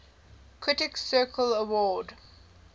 critics circle award